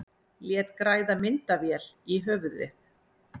Lét græða myndavél í höfuðið